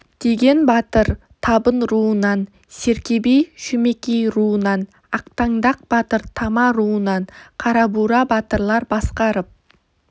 теген батыр табын руынан серке би шөмекей руынан ақтаңдақ батыр тама руынан қарабура батырлар басқарып